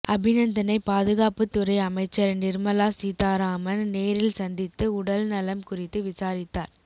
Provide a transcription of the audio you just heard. அபிநந்தனை பாதுகாப்புத்துறை அமைச்சர் நிர்மலா சீதாராமன் நேரில் சந்தித்து உடல்நலம் குறித்து விசாரித்தார்